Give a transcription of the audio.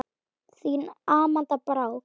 Þín Amanda Brák.